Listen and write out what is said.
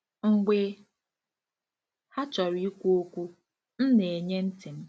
Mgbe ha chọrọ ikwu okwu, m na-enye ntị m.